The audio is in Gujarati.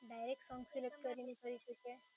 એ તમે વેબસાઈટ